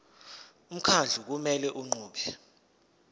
umkhandlu kumele unqume